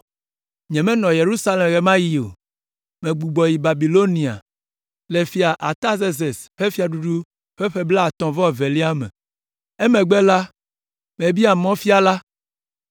Nyemenɔ Yerusalem ɣe ma ɣi o. Megbugbɔ yi Babilonia le Fia Artazerses ƒe fiaɖuɖu ƒe ƒe blaetɔ̃-vɔ-evelia me. Emegbe la, mebia mɔfiala,